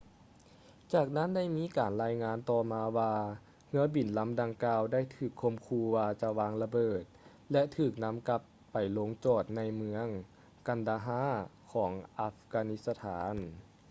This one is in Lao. ຈາກນັ້ນໄດ້ມີການລາຍງານຕໍ່ມາວ່າເຮືອບິນລຳດັ່ງກ່າວໄດ້ຖືກຂົ່ມຂູ່ວ່າຈະວາງລະເບີດ ແລະ ຖືກນຳກັບໄປລົງຈອດໃນເມືອງ kandahar ຂອງອັຟການິສະຖານ